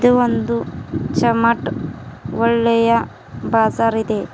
ಇದು ಒಂದು ಚಮಟ್ ಒಳ್ಳೆಯ ಬಜಾರ್ ಇದೆ.